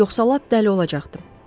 Yoxsa lap dəli olacaqdım.